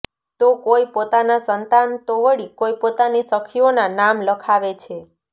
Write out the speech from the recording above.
તો કોઈ પોતાના સંતાન તો વળી કોઈ પોતાની સખીઓના નામ લખાવે છે